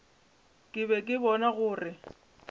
ke be ke bona gore